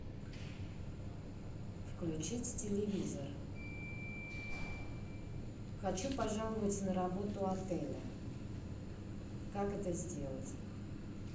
включить телевизор хочу пожаловаться на работу отеля как это сделать